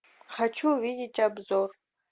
хочу увидеть обзор